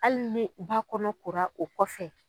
Hali ni ba kɔnɔ kora o kɔfɛ